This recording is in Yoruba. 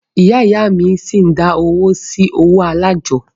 Ìyá ìyá a mí ṣi ń dá owó sí ọwọ́ alájọ́.